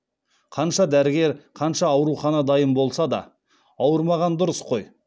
қанша дәрігер қанша аурухана дайын болса да ауырмаған дұрыс қой